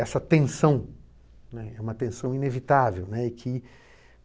Essa tensão, né, é uma tensão inevitável, né. E que